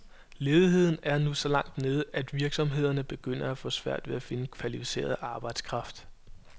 Ledigheden er nu så langt nede, at virksomhederne begynder at få svært ved at finde kvalificeret arbejdskraft.